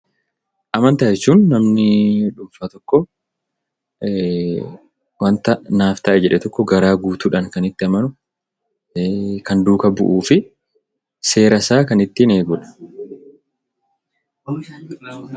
Amantaa jechuun namni dhuunfaa tokko wanta naaf ta'a jedhe tokko garaa guutuudhaan kan itti amanu, kan duukaa bu'uu fi seera isaa kan ittiin eegudha.